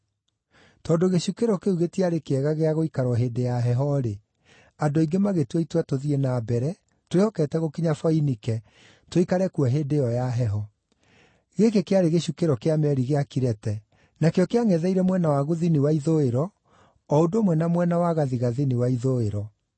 Tondũ gĩcukĩro kĩu gĩtiarĩ kĩega gĩa gũikarwo hĩndĩ ya heho-rĩ, andũ aingĩ magĩtua itua tũthiĩ na mbere, twĩhokete gũkinya Foinike, tũikare kuo hĩndĩ ĩyo ya heho. Gĩkĩ kĩarĩ gĩcukĩro kĩa meeri gĩa Kirete, nakĩo kĩangʼetheire mwena wa gũthini wa ithũĩro, o ũndũ ũmwe na mwena wa gathigathini wa ithũĩro.